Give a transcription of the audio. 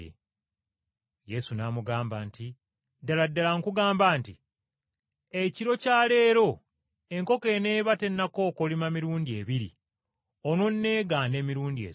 Yesu n’amugamba nti, “Ddala ddala nkugamba nti ekiro kya leero, enkoko eneeba tennakookolima mirundi ebiri, onooneegaana emirundi esatu.”